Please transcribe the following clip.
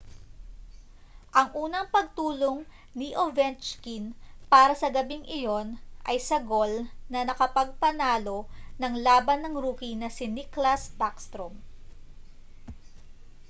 ang unang pagtulong ni ovechkin para sa gabing iyon ay sa gol na nakapagpanalo-ng-laban ng rookie na si nicklas backstrom